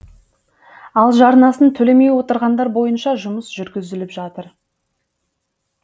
ал жарнасын төлемей отырғандар бойынша жұмыс жүргізіліп жатыр